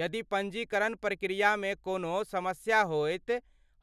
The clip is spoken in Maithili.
यदि पञ्जीकरण प्रक्रियामे कोनो समस्या होयत,